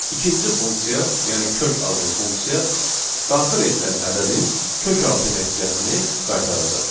İkinci funksiya, yəni kök adlı funksiya daxil edilən ədədin kökaltı nəticəsini qaytaracaq.